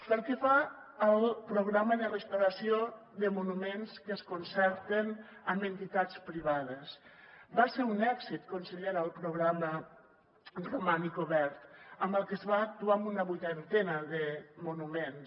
pel que fa al programa de restauració de monuments que es concerten amb entitats privades va ser un èxit consellera el programa romànic obert amb el qual es va actuar en una vuitantena de monuments